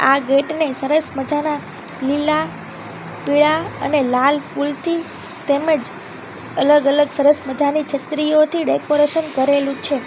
આ ગેટ ને સરસ મજાના લીલા પીળા અને લાલ ફૂલથી તેમજ અલગ અલગ સરસ મજાની છત્રીઓથી ડેકોરેશન કરેલું છે.